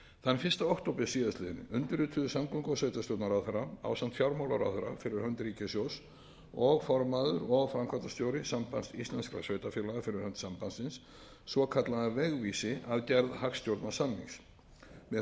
þann fyrsta október síðastliðinn undirrituðu samgöngu og sveitarstjórnarráðherra ásamt fjármálaráðherra fyrir hönd ríkissjóðs og formaður og framkvæmdastjóri sambands íslenskra sveitarfélaga fyrir hönd sambandsins svokallaðan vegvísi að gerð hagstjórnarsamnings með honum lýstu aðilar